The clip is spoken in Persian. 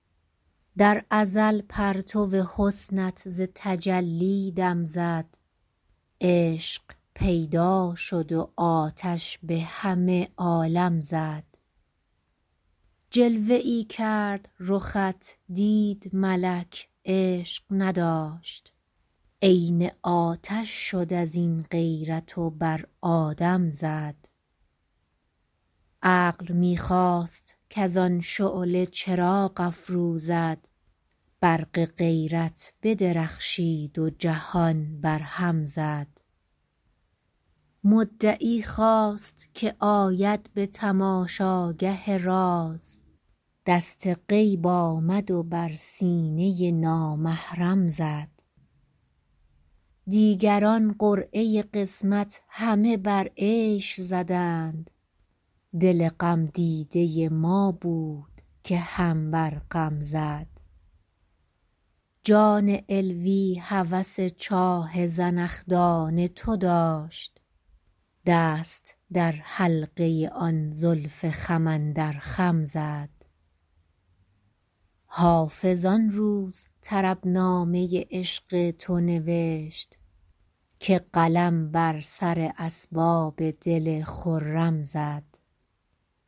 در ازل پرتو حسنت ز تجلی دم زد عشق پیدا شد و آتش به همه عالم زد جلوه ای کرد رخت دید ملک عشق نداشت عین آتش شد از این غیرت و بر آدم زد عقل می خواست کز آن شعله چراغ افروزد برق غیرت بدرخشید و جهان برهم زد مدعی خواست که آید به تماشاگه راز دست غیب آمد و بر سینه نامحرم زد دیگران قرعه قسمت همه بر عیش زدند دل غمدیده ما بود که هم بر غم زد جان علوی هوس چاه زنخدان تو داشت دست در حلقه آن زلف خم اندر خم زد حافظ آن روز طربنامه عشق تو نوشت که قلم بر سر اسباب دل خرم زد